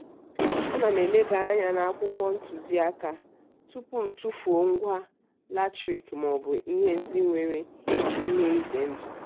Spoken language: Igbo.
ana m elebanye anya n'akwụkwọ ntụziaka tupu m tufuo ngwa latrik maọbụ ihe ndị nwere ihe ize ndụ.